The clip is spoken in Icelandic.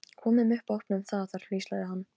Komum upp og opnum það þar hvíslaði hann.